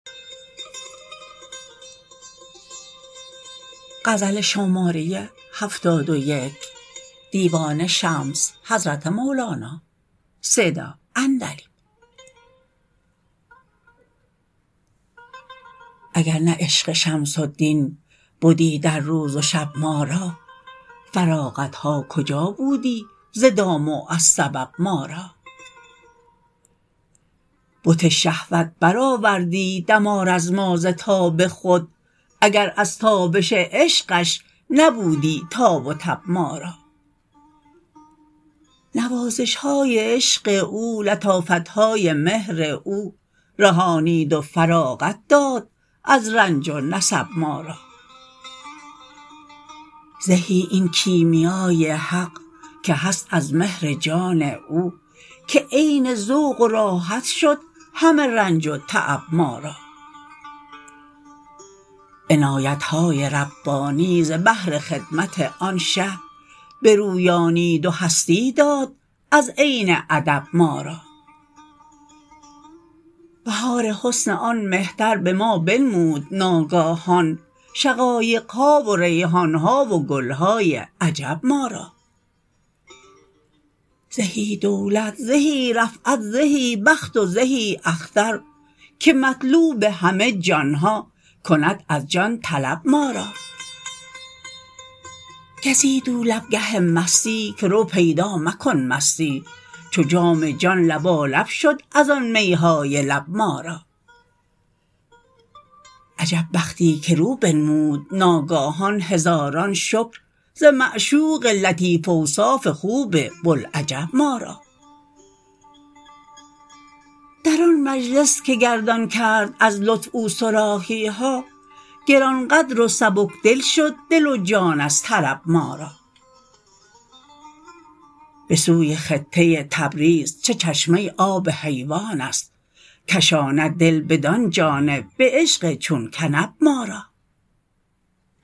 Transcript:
اگر نه عشق شمس الدین بدی در روز و شب ما را فراغت ها کجا بودی ز دام و از سبب ما را بت شهوت برآوردی دمار از ما ز تاب خود اگر از تابش عشقش نبودی تاب و تب ما را نوازش های عشق او لطافت های مهر او رهانید و فراغت داد از رنج و نصب ما را زهی این کیمیا ی حق که هست از مهر جان او که عین ذوق و راحت شد همه رنج و تعب ما را عنایت های ربانی ز بهر خدمت آن شه برویانید و هستی داد از عین ادب ما را بهار حسن آن مهتر به ما بنمود ناگاهان شقایق ها و ریحان ها و گل های عجب ما را زهی دولت زهی رفعت زهی بخت و زهی اختر که مطلوب همه جان ها کند از جان طلب ما را گزید او لب گه مستی که رو پیدا مکن مستی چو جام جان لبالب شد از آن می های لب ما را عجب بختی که رو بنمود ناگاهان هزاران شکر ز معشوق لطیف اوصاف خوب بوالعجب ما را در آن مجلس که گردان کرد از لطف او صراحی ها گران قدر و سبک دل شد دل و جان از طرب ما را به سوی خطه تبریز چه چشمه آب حیوان است کشاند دل بدان جانب به عشق چون کنب ما را